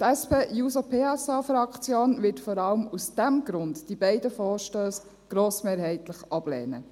Die SP-JUSO-PSA-Fraktion wird die beiden Vorstösse vor allem aus diesem Grund grossmehrheitlich ablehnen.